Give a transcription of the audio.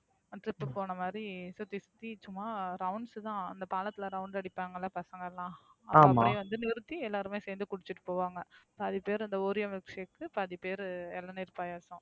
Trip போன மாதிரி சுத்தி சுத்தி சும்மா Rounds தான் அந்த பாலத்துல round அடிப்பாங்கள பசங்கலாம் பேரு வந்து நிறுத்தி எல்லாருமே சேர்ந்து குடிச்சுட்டு போவாங்க. பாதி பேரு அந்த Oreo Milkshake பாதி பேரு இளநீர் பாயாசம்